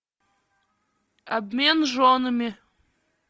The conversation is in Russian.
обмен женами